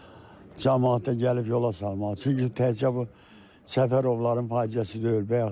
Bütün camaat da gəlib yola salmalı, çünki təkcə bu Səfərovların faciəsi deyil.